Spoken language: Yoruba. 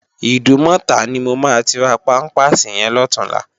Idúmòtá ni mó má ti rá pàmpásí yèn lòtúnlá